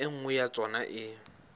e nngwe ya tsona e